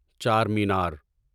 چار مینار